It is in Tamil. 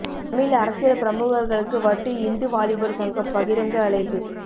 தமிழ் அரசியல் பிரமுகர்களுக்கு வட்டு இந்து வாலிபர் சங்கம் பகிரங்க அழைப்பு